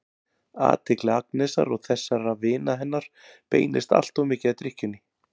Athygli Agnesar og þessara vina hennar beinist alltof mikið að drykkjunni.